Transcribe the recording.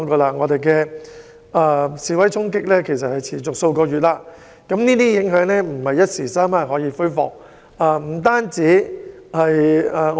香港示威衝突持續數月，這些影響並非一時三刻能夠解決。